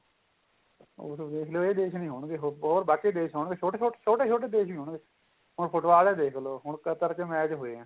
ਉਹ ਤਾਂ ਵੇਖ ਲਿਉ ਇਹ ਦੇਖ ਨੀ ਆਉਣਗੇ ਹੋਰ ਬਾਕੀ ਦੇਸ਼ ਆਉਣ ਗਏ ਛੋਟੇ ਛੋਟੇ ਦੇਸ਼ ਹੀ ਹੋਣਗੇ ਹੁੰਨ football ਈ ਦੇਖ ਲੋ ਹੁਣ ਕਤਰ ਚ match ਹੋਏ ਏ